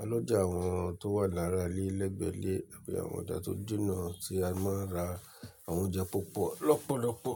A lọjà àwọn tó wà lára ilé lẹ́gbẹ̀ẹ́ ilé, àbí àwọn ọjà tó jìnà tí a máa ń ra àwọn oúnjẹ púpọ̀ lọ́pọ̀lọ́pọ̀.